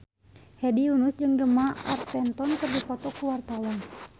Hedi Yunus jeung Gemma Arterton keur dipoto ku wartawan